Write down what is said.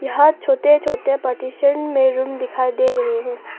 यहां छोटे छोटे पार्टीशन में रूम दिखाई दे रहे हैं।